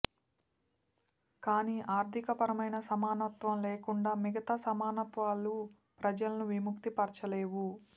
కానీ ఆర్థికపరమైన సమానత్వం లేకుండా మిగతా సమానత్వాలు ప్రజలను విముక్తి పరచలేవు